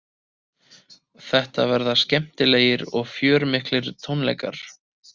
Þetta verða skemmtilegir og fjörmiklir tónleikar